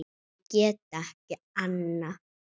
Þeir geta ekkert sannað.